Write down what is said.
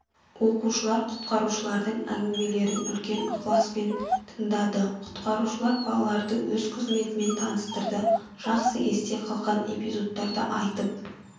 оқушылар құтқарушылардың әңгімелерін үлкен ықыласпен тыңдады құтқарушылар балаларды өз қызметімен таныстырды жақсы есте қалған эпизодтарды айтып